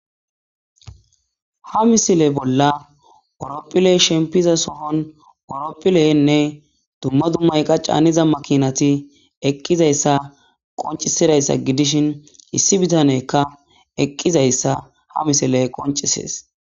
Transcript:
Ha misile bolla orophile shempiza sohon oropphileyenne dumma dummayqa caaniza makinati eqqizayssa qoncisidayssa gidishin issi bitanekka eqqizayssa ha misile qoncisees.